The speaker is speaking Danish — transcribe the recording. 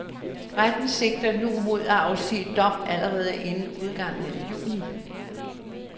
Retten sigter nu mod at afsige dom allerede inden udgangen af juni.